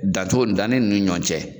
Dan cogo danni nunnu ni ɲɔgɔn cɛ.